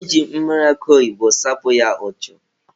E ji mmiri akụ oyibo sapụ ya ụchụ.